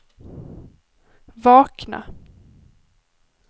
vakna